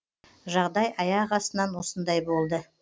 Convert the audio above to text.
жағдай аяқ астынан осындай болды